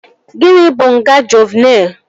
Gịnị bụ nga Juuvenịl?